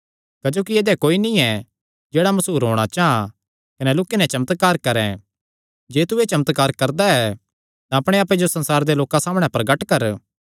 क्जोकि ऐदेया कोई नीं ऐ जेह्ड़ा मशूर होणा चां कने लुक्की नैं चमत्कार करैं जे तू एह़ चमत्कार करदा ऐ तां अपणे आप्पे जो संसारे दे लोकां सामणै प्रगट कर